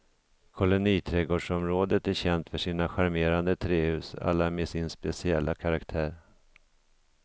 Koloniträdgårdsområdet är känt för sina charmerande trähus, alla med sin speciella karaktär.